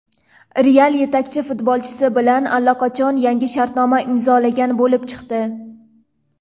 "Real" yetakchi futbolchisi bilan allaqachon yangi shartnoma imzolagan bo‘lib chiqdi.